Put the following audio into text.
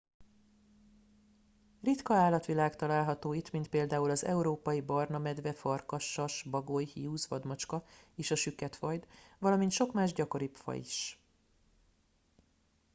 ritka állatvilág található itt mint például az európai barna medve farkas sas bagoly hiúz vadmacska és a süketfajd valamint sok más gyakoribb faj is